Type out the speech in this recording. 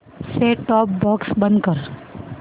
set top box बंद कर